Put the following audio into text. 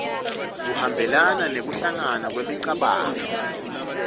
kuhambelana nekuhlangana kwemicabango